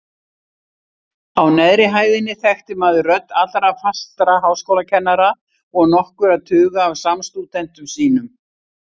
Á neðri hæðinni þekkti maður rödd allra fastra háskólakennara og nokkurra tuga af samstúdentum sínum.